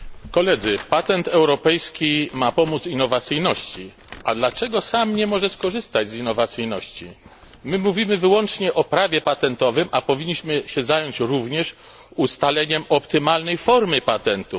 Panie Przewodniczący! Patent europejski ma pomóc innowacyjności. A dlaczego sam nie może skorzystać z innowacyjności? My mówimy wyłącznie o prawie patentowym, a powinniśmy się zająć również ustaleniem optymalnej formy patentu.